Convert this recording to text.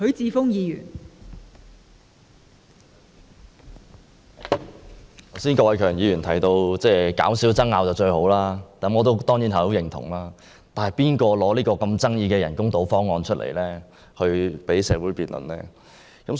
郭偉强議員剛才提到減少爭拗是最好的，我當然很認同，但提出這個富爭議性的人工島方案讓社會辯論的人是誰？